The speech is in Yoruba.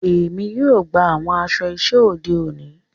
Èmi yóò gbà awọn aṣọ iṣẹ ode òní.